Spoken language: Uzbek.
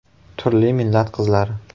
Turli millat qizlari!